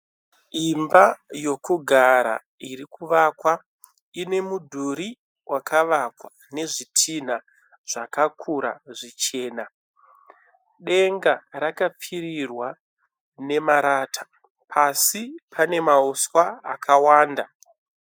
Imba yokugara irikuvakwa ine mudhuri wakavakwa nezvitina zvakakura zvichena. Denga rakapfirirwa nemarata pasi pane mauswa akawanda.